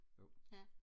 jo